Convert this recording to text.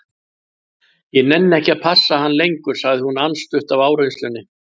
Ég nenni ekki að passa hann lengur, sagði hún andstutt af áreynslunni.